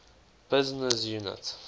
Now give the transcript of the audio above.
business unit